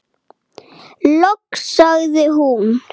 Loks sagði hún